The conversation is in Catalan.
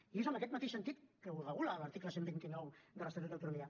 i és amb aquest mateix sentit que ho regula l’article cent i vint nou de l’estatut d’autonomia